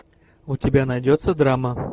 у тебя найдется драма